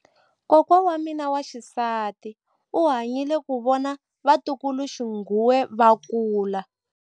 Kokwa wa mina wa xisati u hanyile ku vona vatukuluxinghuwe va kula.